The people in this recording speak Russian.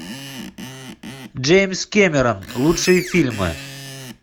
джеймс кэмерон лучшие фильмы